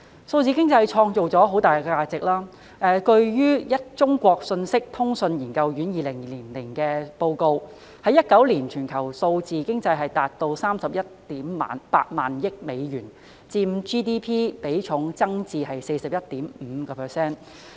數字經濟創造了巨大價值，據中國信息通信研究院2020年發表的報告 ，2019 年全球數字經濟達 318,000 億美元，佔 GDP 比重增至 41.5%。